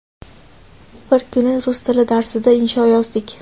Bir kuni rus tili darsida insho yozdik.